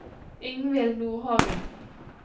Ingvild Nordhagen